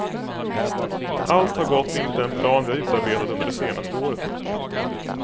Allt har gått enligt den plan vi har utarbetat under det senaste året.